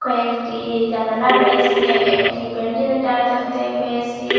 কয়েকটি জানালা রয়েছে একটি ভেন্টিলেটারও দেখতে পেয়েছি।